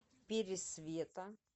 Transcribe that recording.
пересвета